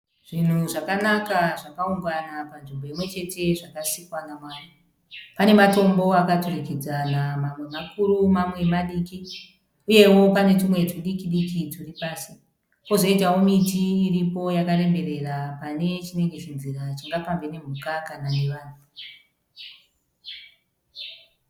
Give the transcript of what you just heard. Zvinhu zvakanaka zvakaungana panzvimbo imwe chete zvakasikwa naMwari, pane matombo akaturikidzana mamwe makuru mamwe madiki uyewo pane tumwe tudiki diki turi pasi kozoitawo miti iripo yakaremberera pane chinenge chinzira chingafambe nemhuka kana nevanhu.